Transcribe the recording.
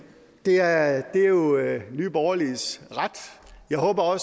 det er jo nye borgerliges ret jeg håber